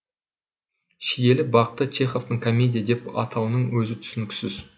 шиелі бақты чеховтің комедия деп атауының өзі түсініксіз